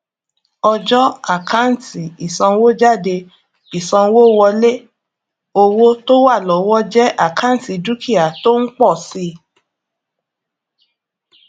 ọjọ àkántì ìsanwójáde ìsanwówọlé owó tó wà lọwọ jẹ àkántì dúkìá tó ń pọ si